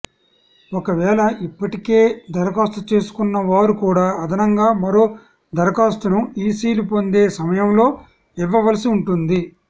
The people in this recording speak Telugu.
ఒకవేళ ఇప్పటికే దరఖాస్తు చేసుకున్న వారు కూడా అదనంగా మరో దరఖాస్తును ఈసీలు పొందే సమయంలో ఇవ్వవలసి ఉంటుంది